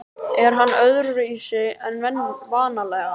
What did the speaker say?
Er hann öðruvísi en vanalega?